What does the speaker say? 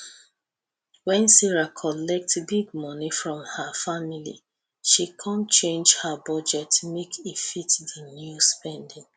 when sarah collet big moni from her family she come change her budget make e fit di new spending